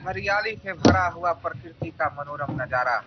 हरियाली से भरा हुआ प्रकृति का मनोरम नज़ारा।